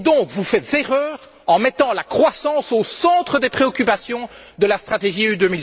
Vous faites donc erreur en mettant la croissance au centre des préoccupations de la stratégie UE